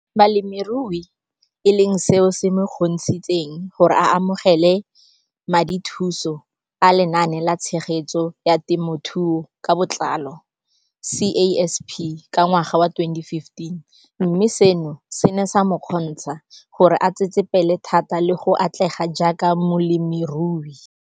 Balemirui e leng seo se mo kgontshitseng gore a amogele madithuso a Lenaane la Tshegetso ya Te mothuo ka Botlalo CASP ka ngwaga wa 2015, mme seno se ne sa mo kgontsha gore a tsetsepele thata le go atlega jaaka molemirui.